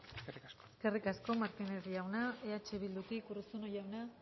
eskerrik asko eskerrik asko martínez jauna eh bildutik urruzuno jauna